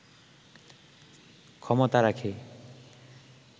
ক্ষমতা রাখে